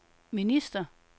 minister